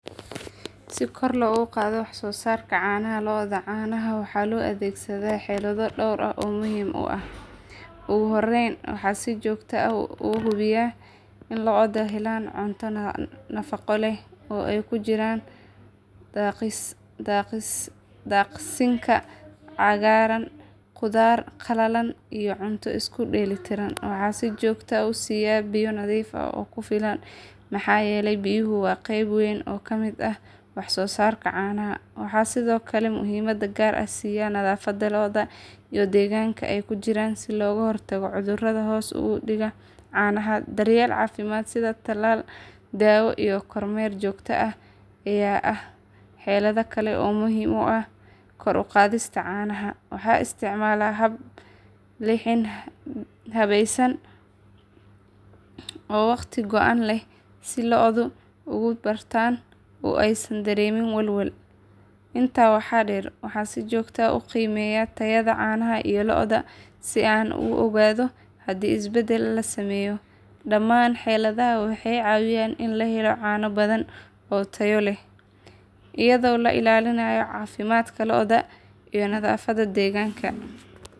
Si kor logu qadho wax sosarka canaha lodha, canaha waxaa lo adhegsada forsado dor ah oo muhiim ah ogu horen waxaa si jogto ah ogu hubiyaa in loda cunto nafaqo leh kujiran daqsinka cagaran, qudhaar qalalan iyo cunto isku dela tiran waxaa si jogto ah usiya biya nadhiif ah oo kufilan, biyaha waa qeeb weyn oo kamiid ah nadhafaada lodha iyo deganka ee loga hortago cudhuraada hos udiga canaha daryeel dawa iyo kor mer jogto ah ee xelada gar ah waxaa muhiim u ah kor uqadhista isticmala habesan oo waqti goan leh, si an u ogado daman xeladaha waxee cawiya cano badan iyado lailalinayo deganka.